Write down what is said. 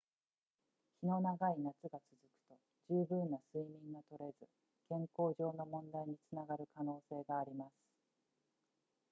日の長い夏が続くと十分な睡眠がとれず健康上の問題につながる可能性があります